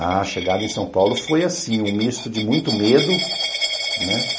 A chegada em São Paulo foi assim, um misto de muito medo, né?